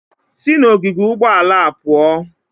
Sị n'ogige ụgbọala a pụọ!